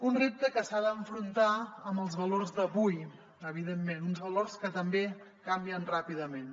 un repte que s’ha d’afrontar amb els valors d’avui evidentment uns valors que també canvien ràpidament